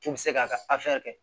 K'u bɛ se k'a ka kɛ